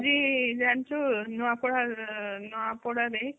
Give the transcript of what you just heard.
ଆଜି ଜାଣିଛୁ ନୂଆପଡା ନୂଆ ପଡାରେ